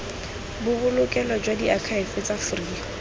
bobolokelo jwa diakhaefe jwa free